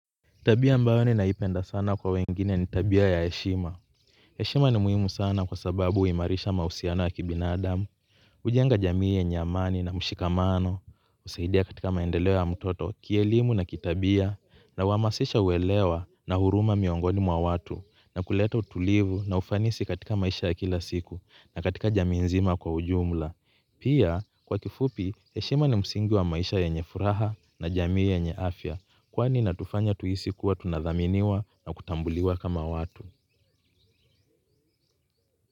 Tabia ambayo ninaipenda sana kwa wengine ni tabia ya heshima. Heshima ni muhimu sana kwa sababu huimarisha mahusiano ya kibinadamu. Hujenga jamii yenye amani na mshikamano, husaidia katika maendeleo ya mtoto, kielimu na kitabia, na huhamasisha uelewa na huruma miongoni mwa watu, na kuleta utulivu na ufanisi katika maisha ya kila siku, na katika jamii nzima kwa ujumla. Pia kwa kifupi heshima ni msingi wa maisha yenye furaha na jamii yenye afya kwani inatufanya tuhisi kuwa tunathaminiwa na kutambuliwa kama watu.